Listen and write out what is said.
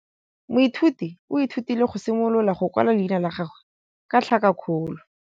Moithuti o ithutile go simolola go kwala leina la gagwe ka tlhakakgolo.